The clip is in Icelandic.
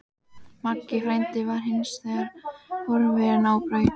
Maggi frændi var hins vegar horfinn á braut.